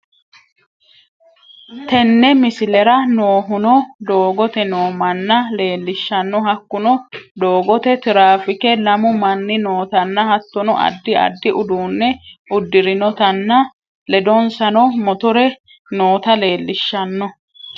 tenni misleraa noohuno doogote noo manna lelishanno hakunno dogotte trafikke lammu manni nootana hattono adi adi udunne udiirinotanna ledonsanno motoree noota lelishanno.